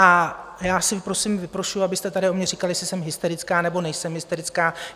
A já si prosím vyprošuji, abyste tady o mně říkali, jestli jsem hysterická nebo nejsem hysterická.